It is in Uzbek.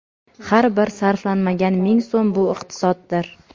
Har bir sarflanmagan ming so‘m – bu iqtisoddir.